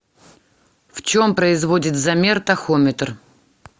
в чем производит замер тахометр